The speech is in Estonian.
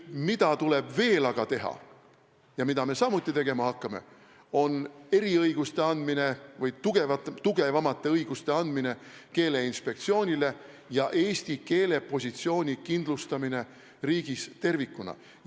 Mida tuleb veel aga teha ja mida me samuti tegema hakkame, on eriõiguste andmine või tugevamate õiguste andmine Keeleinspektsioonile ja eesti keele positsiooni kindlustamine riigis tervikuna.